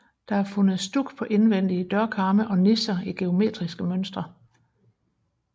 Der er fundet stuk på indvendige dørkarme og nicher i geometriske mønstre